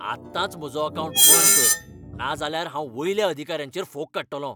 आत्ताच म्हजो अकावंट बंद कर, नाजाल्यार हांव वयल्या अधिकारांचेर फोग काडटलों.